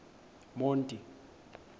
monti